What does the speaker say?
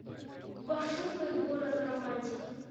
пошукай город романтиков